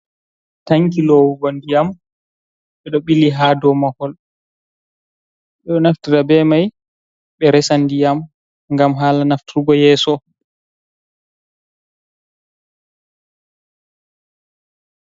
Tankin lowugo ndiyam ɓeɗo ɓili hadow mahol, ɓeɗo naftira be mai ɓeresa ndiyam.